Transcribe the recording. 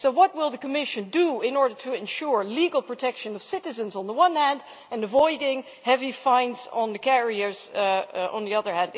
What will the Commission do in order to ensure the legal protection of citizens on the one hand and avoiding heavy fines for carriers on the other?